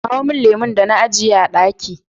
kawo min lemon da na ajiye a ɗaki